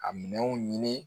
A minɛnw ɲini